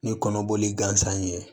Ni kɔnɔboli gansan ye